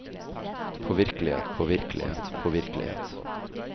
påvirkelighet påvirkelighet påvirkelighet